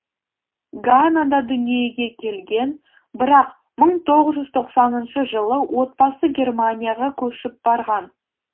ганада дүниеге келген бірақ мың тоғыз жүз тоқсаныншы жылы отбасы германияға көшіп барған